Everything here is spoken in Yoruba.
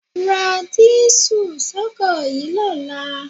Ra dísù sọ́kọ̀ yìí lọ́la.